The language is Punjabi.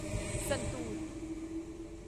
ਸੰਤੂਰ